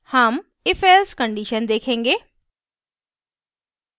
हम ifelse condition देखेंगे